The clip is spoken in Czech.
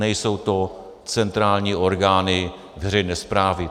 Nejsou to centrální orgány veřejné správy.